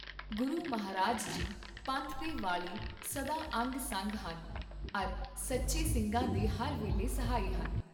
ਗੁਰੂ ਮਹਾਰਾਜ ਜੀ ਪੰਥ ਦੇ ਵਾਲੀ ਸਦਾ ਅੰਗ ਸੰਗ ਹਨ, ਅਰ ਸੱਚੇ ਸਿੰਘਾਂ ਦੇ ਹਰ ਵੇਲੇ ਸਹਾਈ ਹਨ।